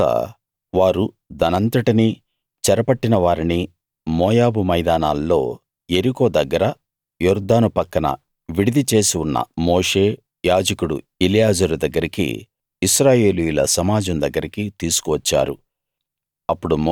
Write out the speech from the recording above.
తరువాత వారు దానంతటినీ చెరపట్టిన వారిని మోయాబు మైదానాల్లో యెరికో దగ్గర యొర్దాను పక్కన విడిది చేసి ఉన్న మోషే యాజకుడు ఎలియాజరు దగ్గరికి ఇశ్రాయేలీయుల సమాజం దగ్గరికి తీసుకు వచ్చారు